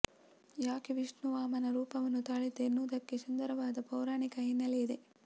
ಯಾಕೆ ವಿಷ್ಣು ವಾಮನ ರೂಪವನ್ನು ತಾಳಿದ್ದ ಎನ್ನುವುದಕ್ಕೆ ಸುಂದರವಾದ ಪೌರಾಣಿಕ ಹಿನ್ನೆಲೆ ಇದೆ